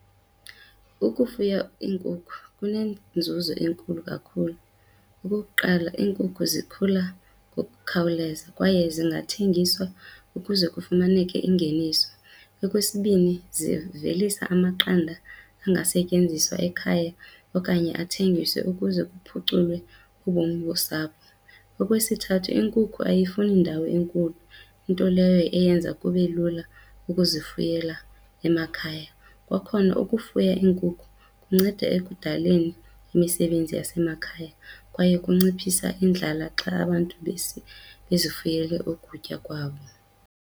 Ukufuya iinkukhu kunenzuzo enkulu kakhulu. Okukuqala, iinkukhu zikhula ngokukhawuleza kwaye zingathengiswa ukuze kufumaneke ingeniso. Okwesibini, zivelisa amaqanda angasetyenziswa ekhaya okanye athengiswe ukuze kuphuculwe ubomi bosapho. Okwesithathu, inkukhu ayifuni ndawo enkulu, into leyo eyenza kube lula ukuzifuyela emakhaya. Kwakhona ukufuya iinkukhu kunceda ekudaleni imisebenzi yasemakhaya kwaye kunciphisa indlala xa abantu bezifuyele ukutya kwabo.